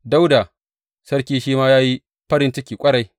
Dawuda sarki shi ma ya yi farin ciki ƙwarai.